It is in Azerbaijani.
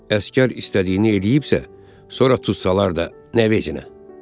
Əsgər istədiyini eləyibsə, sonra tutsalar da nə veçinə?